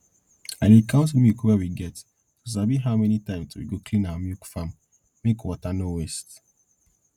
i dey count milk we get to sabi how many times we go clean our milk farm make water nor waste